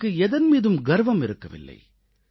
அவருக்கு எதன் மீதும் கர்வம் இருக்கவில்லை